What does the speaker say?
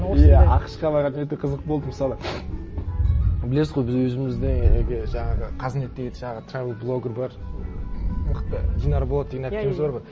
иә ақш қа барарда өте қызық болды мысалы білесіз ғой біз өзіміздегі жаңағы қазнеттегі жаңағы трэвел блогер бар мықты динара болат деген әпкеміз бар ғой